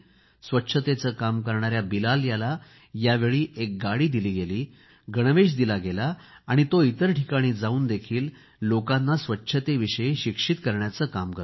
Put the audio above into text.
स्वच्छतेचे काम करणाऱ्या बिलाल याला यावेळी एक गाडी दिली आहे गणवेश दिला आहे आणि तो इतर ठिकाणी जावूनही लोकांना स्वच्छतेविषयी शिक्षित करतो